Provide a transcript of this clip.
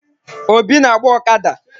Obi na-agba ọkada.